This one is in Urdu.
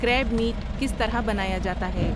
کریب میٹ کس طرح بنایا جاتا ہے